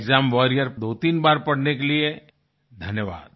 exam warriors 23 बार पढ़ने के लिए धन्यवाद